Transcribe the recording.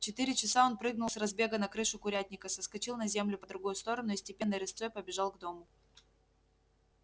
в четыре часа он прыгнул с разбега на крышу курятника соскочил на землю по другую сторону и степенной рысцой побежал к дому